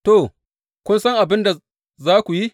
To, kun san abin da za ku yi.